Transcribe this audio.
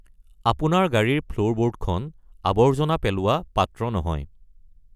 আপোনাৰ গাড়ীৰ ফ্লোৰবোৰ্ডখন আৱৰ্জনা পেলোৱা পাত্ৰ নহয়।